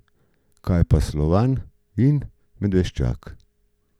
Kaj pa Slovan in Medveščak?